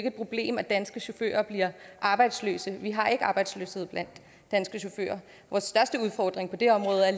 et problem at danske chauffører bliver arbejdsløse vi har ikke arbejdsløshed blandt danske chauffører vores største udfordring på det område er